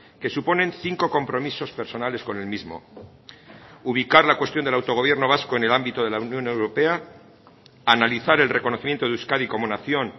que suponen cinco compromisos personales con el mismo ubicar la cuestión del autogobierno vasco en el ámbito de la unión europea analizar el reconocimiento de euskadi como nación